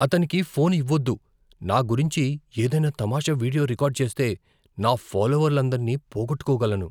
అతనికి ఫోన్ ఇవ్వొద్దు. నా గురించి ఏదైనా తమాషా వీడియో రికార్డ్ చేస్తే, నా ఫాలోవర్లందరినీ పోగొట్టుకోగలను.